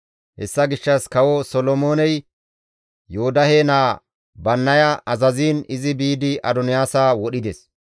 Hessa gishshas Kawo Solomooney Yoodahe naa Bannaya azaziin izi biidi Adoniyaasa wodhides.